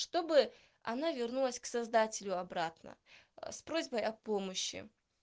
чтобы она вернулась к создателю обратно с просьбой о помощи